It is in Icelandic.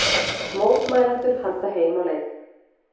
Mótmælendur halda heim á leið